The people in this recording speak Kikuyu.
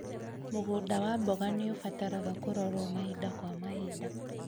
Mũgũnda wa mboga nĩũbataraga kũrorwo mahinda kwa mahinda